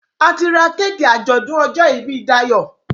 a tí rá Kéèkì ajọdun ojó ibí Dayo.